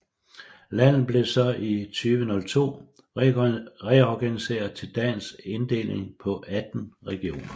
Landet blev så i 2002 reorganiseret til dagens inddeling på 18 regioner